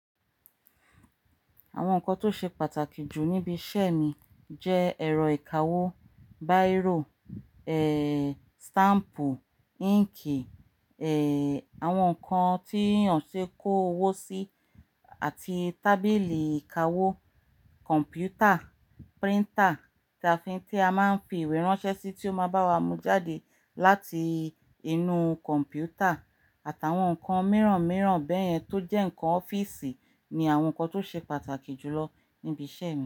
Àwọn nǹkan tó ṣe pàtàkì jù níbi iṣẹ́ mi jẹ́ ẹ̀rọ ìkawó, báírò stáǹpù, íǹkì, àwọn nǹkan tí yàn ṣe kó owó sí àti tábìlì ìkawó, kọ̀m̀pútà, píríntà tí a máa ń fi ìwé ránṣẹ́ sí tí ó máa bá wa mú jáde láti inú kọ̀m̀pútà àti awọn nǹkan mìíràn mìíràn bẹ́yẹn tó jẹ́ nǹkan ọ́fíìsì ni àwọn nǹkan tó ṣe pàtàkì jù lọ níbi iṣẹ́ mi.